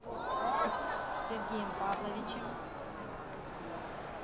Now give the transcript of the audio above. сергеем павловичем